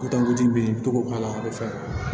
i bi to k'o k'a la a be fɛ